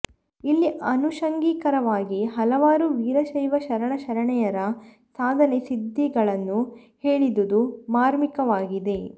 ಇಲ್ಲಿ ಆನುಷಂಗಿಕವಾಗಿ ಹಲವಾರು ವೀರಶೈವ ಶರಣ ಶರಣೆಯರ ಸಾಧನೆ ಸಿದ್ಧಿಗಳನ್ನು ಹೇಳಿದುದು ಮಾರ್ಮಿಕವಾಗಿದೆ